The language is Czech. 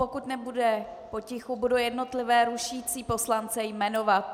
Pokud nebude potichu, budu jednotlivé rušící poslance jmenovat.